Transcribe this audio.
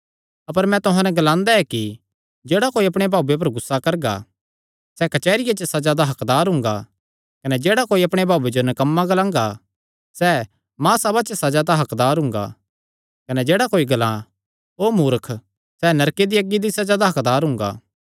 अपर मैं तुहां नैं एह़ ग्लांदा ऐ कि जेह्ड़ा कोई अपणे भाऊये पर गुस्सा करगा सैह़ कचेहरी च सज़ा दा हक्कदार हुंगा कने जेह्ड़ा कोई अपणे भाऊये जो नकम्मा ग्लांगा सैह़ महासभा च सज़ा दा हक्कदार हुंगा कने जेह्ड़ा कोई ग्लां ओ मूर्ख सैह़ नरके दी अग्गी दी सज़ा दा हक्कदार हुंगा